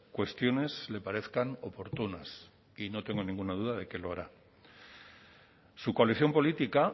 cuestiones le parezcan oportunas y no tengo ninguna duda de que lo hará su coalición política